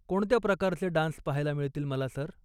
कोणत्या प्रकारचे डान्स पाहायला मिळतील मला, सर?